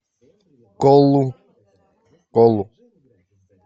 колу колу